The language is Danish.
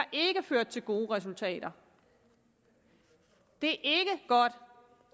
ført til gode resultater det